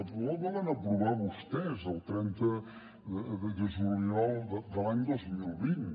el protocol que van aprovar vostès el trenta de juliol de l’any dos mil vint